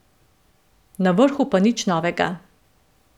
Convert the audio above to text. Na vrhu pa nič novega.